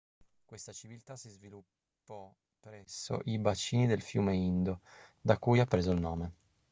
questa civiltà si sviluppo presso i bacini del fiume indo da cui ha preso il nome